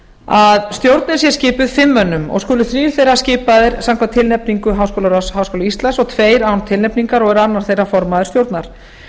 að stjórnin sé skipuð fimm mönnum og skulu þrír þeirra skipaðir samkvæmt tilnefningu háskólaráðs háskóla íslands og tveir án tilnefningar og er annar þeirra formaður stjórnar